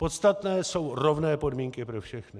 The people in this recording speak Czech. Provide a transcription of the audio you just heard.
Podstatné jsou rovné podmínky pro všechny.